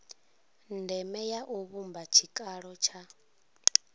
ndeme u vhumba tshikalo tsha